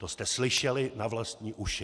To jste slyšeli na vlastní uši.